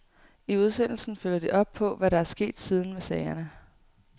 I udsendelsen følger de op på, hvad der er sket siden med sagerne.